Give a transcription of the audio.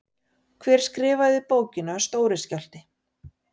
Hver skrifaði bókina Stóri skjálfti?